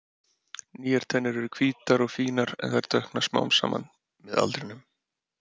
Nýjar tennur eru hvítar og fínar en þær dökkna smám saman með aldrinum.